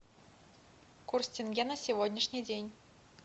курс тенге на сегодняшний день